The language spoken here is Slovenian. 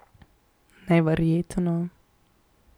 Neverjetno.